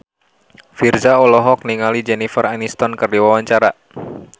Virzha olohok ningali Jennifer Aniston keur diwawancara